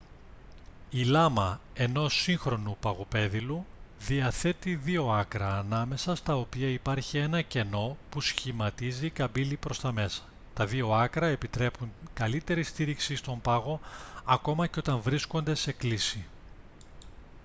η λάμα ενός σύγχρονου παγοπέδιλου διαθέτει δύο άκρα ανάμεσα στα οποία υπάρχει ένα κενό που σχηματίζει καμπύλη προς τα μέσα τα δύο άκρα επιτρέπουν καλύτερη στήριξη στον πάγο ακόμη και όταν βρίσκονται σε κλίση